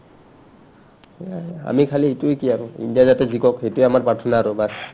আমি খালী ইটোয়ে কি আৰু ইণ্ডিয়াই যাতে জিকে সেইটোয়ে প্ৰাৰ্থানা baas